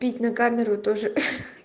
петь на камеру тоже ха